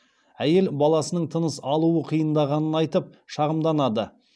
әйел баласының тыныс алуы қиындағанын айтып шағымданады